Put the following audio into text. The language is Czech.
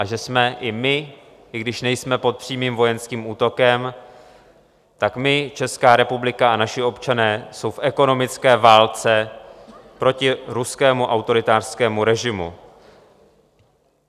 A že jsme i my, i když nejsme pod přímým vojenským útokem, tak my, Česká republika a naši občané jsme v ekonomické válce proti ruskému autoritářskému režimu.